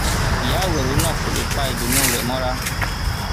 ìyá àwérò náà kò lè pa ìdùnnú rẹ mọra